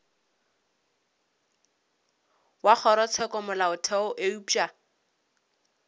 wa kgorotsheko ya molaotheo eupša